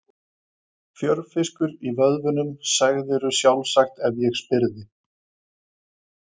Fjörfiskur í vöðvunum, segðirðu sjálfsagt ef ég spyrði.